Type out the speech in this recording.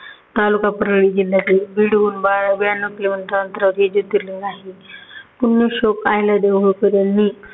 तालुका परली जिल्ह्यातील बीड ब्याण्णव kilometer अंतरावरती जोतिर्लिंग आहे